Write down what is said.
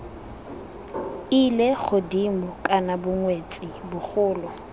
ile godimo kana bongwetsi bogolo